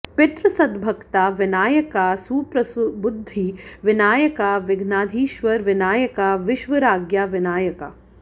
पितृसद्भक्ता विनायका सुप्रसबुद्धि विनायका विघ्नाधीश्वर विनायका विश्वाराज्ञा विनायका